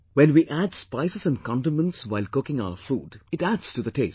When we add spices and condiments while cooking our food, it adds to the taste